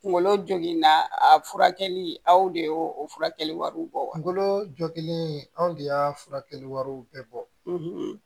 Kunkolo joginna a furakɛli aw de y'o furakɛli wariw bɔ kungolo jogin anw de y'a furakɛli wari bɛɛ bɔ